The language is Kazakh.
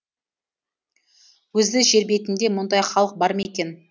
өзі жербетінде мұндай халық бар ма екен